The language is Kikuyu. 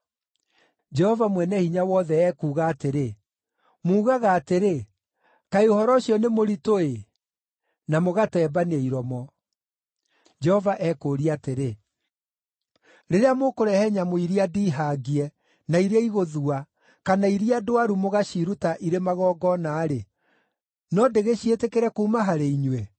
Jehova Mwene-Hinya-Wothe ekuuga atĩrĩ, “Muugaga atĩrĩ, ‘Kaĩ ũhoro ũcio nĩ mũritũ-ĩ!’ Na mũgatembania iromo.” Jehova ekũũria atĩrĩ, “Rĩrĩa mũkũrehe nyamũ iria ndiihangie, na iria iigũthua, kana iria ndwaru mũgaaciruta irĩ magongona-rĩ, no ndĩgĩciĩtĩkĩre kuuma harĩ inyuĩ?”